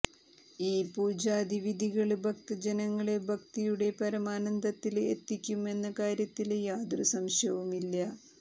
ഈ പുജാതി വിധികള് ഭക്തജനങ്ങളെ ഭക്തിയുടെ പരമാനന്ദത്തില് എത്തിക്കും എന്ന കാര്യത്തില് യാതൊരു സംശയവുമില്ല